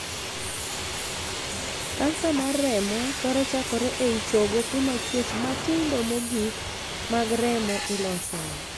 Kansa mar remo thoro chakore ei chogo kuma chuech matindo mogikmag remo ilosoe.